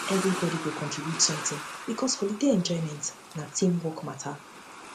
everybody go contribute something because holiday enjoyment na team work matter